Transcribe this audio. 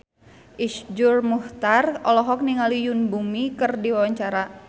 Iszur Muchtar olohok ningali Yoon Bomi keur diwawancara